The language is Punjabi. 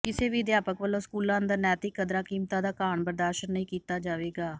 ਕਿਸੇ ਵੀ ਅਧਿਆਪਕ ਵੱਲੋਂ ਸਕੂਲਾਂ ਅੰਦਰ ਨੈਂਤਿਕ ਕਦਰਾਂ ਕੀਮਤਾਂ ਦਾ ਘਾਣ ਬਰਦਾਸ਼ਤ ਨਹੀਂ ਕੀਤਾ ਜਾਵੇਗਾ